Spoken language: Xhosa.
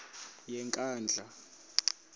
yenkandla